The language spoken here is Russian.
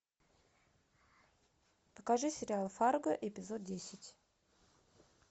покажи сериал фарго эпизод десять